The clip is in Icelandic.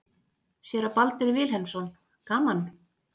Séra Baldur Vilhelmsson: Gaman?